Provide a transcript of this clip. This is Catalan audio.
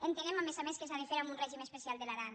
entenem a més a més que s’ha de fer amb un règim especial de l’aran